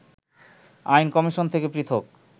আইন কমিশন থেকে পৃথক